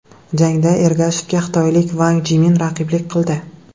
Jangda Ergashevga xitoylik Vang Jimin raqiblik qildi.